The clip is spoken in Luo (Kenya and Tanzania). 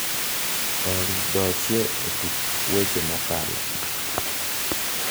olly do chie e tuk weche mokalo